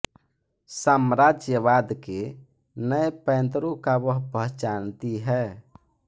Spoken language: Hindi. साम्राज्यबाद के नए पैंतरों का वह पहचानती है